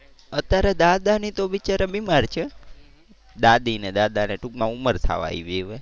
અત્યારે દાદા ને બિચારા બીમાર છે. દાદી ને દાદા ને ટુંકમાં ઉમર થવા આવી હવે.